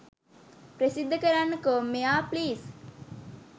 ප්‍රසිද්ධ කරන්න කෝ මෙයා ප්ලීස්!